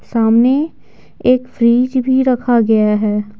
सामने एक फ्रिज भी रखा गया है।